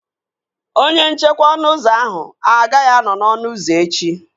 Onye nchekwa ọnụ ụzọ ahụ agaghị anọ n'ọnụ ụzọ echi